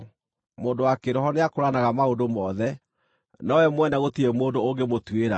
Mũndũ wa kĩĩroho nĩakũũranaga maũndũ mothe, nowe mwene gũtirĩ mũndũ ũngĩmũtuĩra: